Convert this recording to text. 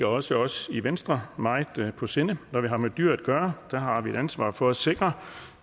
også os i venstre meget på sinde når vi har med dyr at gøre har vi et ansvar for at sikre